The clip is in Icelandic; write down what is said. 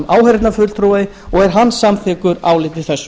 áheyrnarfulltrúi og er hann samþykkur áliti þessu